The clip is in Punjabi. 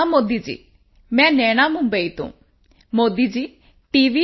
ਪ੍ਰਣਾਮ ਮੋਦੀ ਜੀ ਮੈਂ ਨੈਣਾ ਮੁੰਬਈ ਤੋਂ ਮੋਦੀ ਜੀ ਟੀ